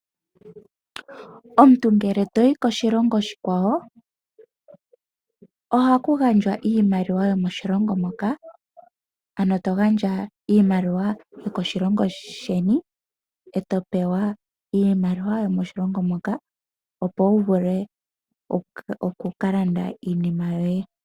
Omuntu ngele toyi koshilongo oshikwawo, ohaku gandjwa iimaliwa yomoshilongo moka. Ano to gandja iimaliwa yokoshilongo sheni, e to pewa iimaliwa yo moshilongo moka, opo wu vule oku ka landa iinima yoye.